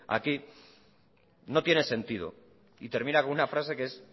aquí no tiene sentido y termina con una frase que es